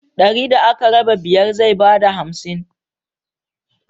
Dari da aka raba biyar zai ba da hamsin.